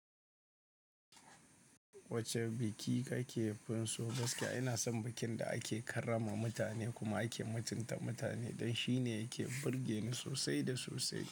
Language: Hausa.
Wacce biki kake fin so? Gaskiya ina son bikin da ake karrama mutane kuma ake mutunta mutane don shine yake burge ni sosai da sosai.